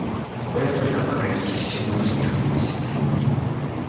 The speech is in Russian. коля только покровительственно усмехнулся